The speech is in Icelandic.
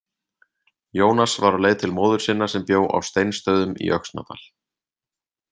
Jónas var á leið til móður sinnar sem bjó á Steinsstöðum í Öxnadal.